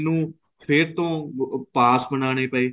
ਮੈਨੂੰ ਫੇਰ ਤੋਂ ਪਾਸ ਬਨਾਨੇ ਪਏ